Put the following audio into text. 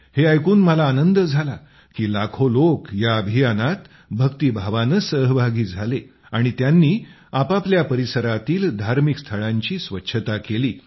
हे ऐकून मला आनंद झाला की लाखो लोक ह्या अभियानात भक्तीभावाने सहभागी झाले आणि त्यांनी आपापल्या परिसरातील धार्मिक स्थळांची स्वच्छता केली